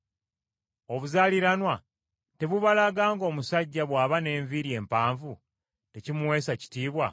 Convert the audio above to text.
Obuzaaliranwa tebubalaga ng’omusajja bw’aba n’enviiri empanvu tekimuweesa kitiibwa,